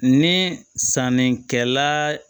Ni sannikɛla